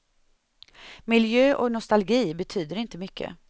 Miljö och nostalgi betyder inte mycket.